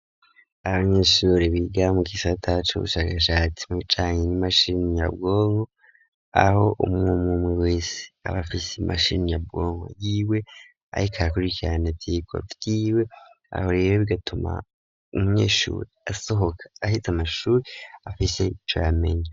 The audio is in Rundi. Abanyeshuri biga mugisata cubu shakashatsi mu bijanye n'imashini nyabwonko aho umwumwe wese abafise imashini nyabwonko yiwe ariko arakurikirane ivyirwa vyiwe ahorero bigatuma umuyeshuri asohoka ahiza amashuri afise ico yamenye.